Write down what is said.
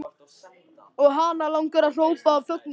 Og hana langar að hrópa af fögnuði.